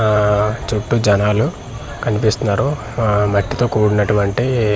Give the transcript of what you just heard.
ఆఆ చుట్టూ జనాలు కనిపిస్తున్నారు ఆ మట్టితో కుడినటువంటి ఇఇ.